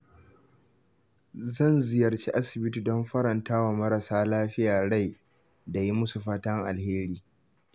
Zan ziyarci asibiti don faranta wa marasa lafiya rai da yi musu fatan alheri.